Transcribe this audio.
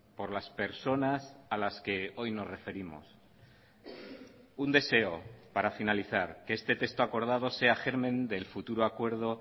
por las personas a las que hoy nos referimos un deseo para finalizar que este texto acordado sea germen del futuro acuerdo